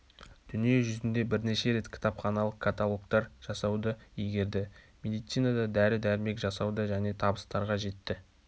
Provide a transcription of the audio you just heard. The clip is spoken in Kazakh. дүние жүзінде бірінші рет кітапханалық каталогтар жасауды игерді медицинада дәрі-дәрмек жасауда және табыстарға жетті